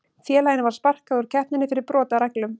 Félaginu var sparkað úr keppninni fyrir brot á reglum.